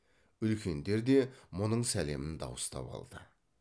үлкендер де мұның сәлемін дауыстап алды